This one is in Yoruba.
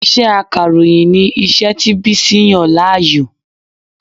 Iṣẹ́ Akàròyìn ni iṣẹ́ tí Bísí yàn láàyò